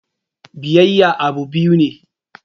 Biyayya abun biya ne.